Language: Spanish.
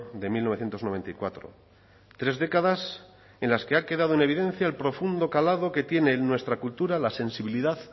de mil novecientos noventa y cuatro tres décadas en las que ha quedado en evidencia el profundo calado que tiene en nuestra cultura la sensibilidad